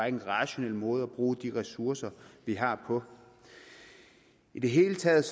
en rationel måde at bruge de ressourcer vi har på i det hele taget